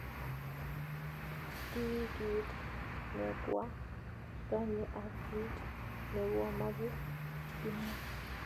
�ki kiit nekwaganye ak kiit nekyamache, � kimwa